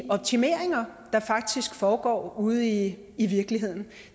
optimeringer der faktisk foregår ude i i virkeligheden